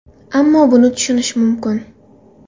Ammo buni tushunish mumkin.